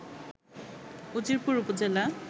উজিরপুর উপজেলা